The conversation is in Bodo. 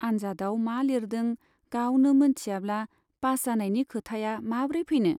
आन्जादआव मा लिरदों गावनो मोनथियाब्ला पास जानायनि खोथाया माब्रै फैनो ?